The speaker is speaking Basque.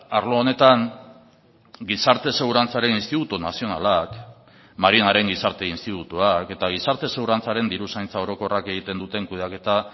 arlo honetan gizarte segurantzaren institutu nazionalak marinaren gizarte institutuak eta gizarte segurantzaren diruzaintza orokorrak egiten duten kudeaketa